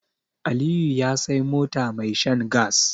Aliyu ya Sai mota mai shan gas